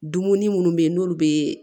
Dumuni munnu be ye n'olu be